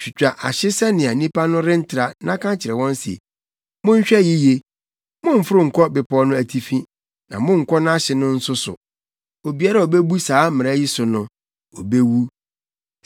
Twitwa ahye sɛnea nnipa no rentra na ka kyerɛ wɔn se, ‘Monhwɛ yiye. Mommforo nkɔ bepɔw no atifi na monnkɔ nʼahye no nso so; obiara a obebu saa mmara yi so no, obewu.